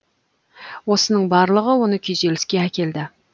осының барлығы оны күйзеліске әкелді